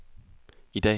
i dag